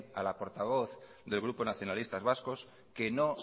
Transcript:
a la portavoz del grupo nacionalistas vascos que no